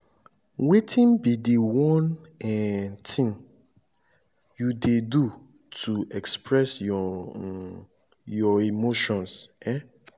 wetin be di one um thing you dey do to express um your emotions? um